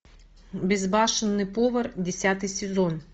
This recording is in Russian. безбашенный повар десятый сезон